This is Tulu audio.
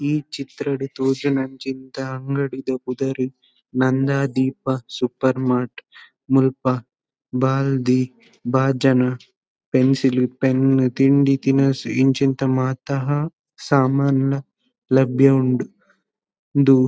ಈ ಚಿತ್ರಡ್ ತೋಜುನಂಚಿಂತ ಅಂಗಡಿದ ಪುದರ್ ನಂದಾದೀಪ ಸೂಪರ್ ಮಾರ್ಟ್ . ಮುಲ್ಪ ಬಾಲ್ದಿ ಬಾಜನ ಪೆನ್ಸಿಲ್ ಪೆನ್ ತಿಂಡಿ ತಿನಸ್ ಇಂಚಿಂತ ಮಾತಾ ಹ ಸಾಮಾನ್ ಲ ಲಭ್ಯ ಉಂಡು ಉಂದು--